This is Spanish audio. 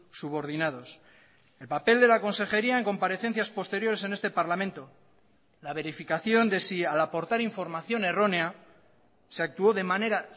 subordinados el papel de la consejería en comparecencias posteriores en este parlamento la verificación de si al aportar información errónea se actuó de manera